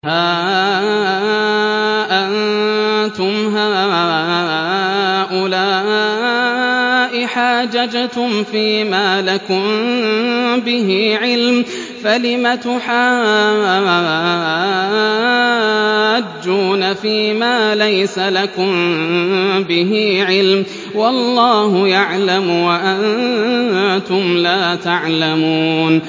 هَا أَنتُمْ هَٰؤُلَاءِ حَاجَجْتُمْ فِيمَا لَكُم بِهِ عِلْمٌ فَلِمَ تُحَاجُّونَ فِيمَا لَيْسَ لَكُم بِهِ عِلْمٌ ۚ وَاللَّهُ يَعْلَمُ وَأَنتُمْ لَا تَعْلَمُونَ